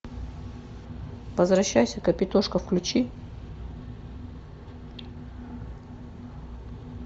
возвращайся капитошка включи